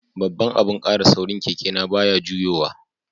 Babban abun kara saurin keke na baya juyowa.